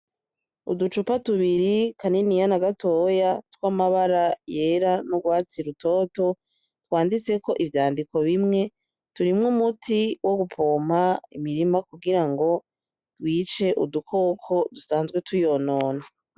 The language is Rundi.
Uducupa tubiri kaniniya na gatoya twamabara yera n'urwatsi rutoto twanditseko ivyandiko bimwe, turimwo umuti wo gupompa imirima kugirango bice udukoko dusanzwe tuyonona.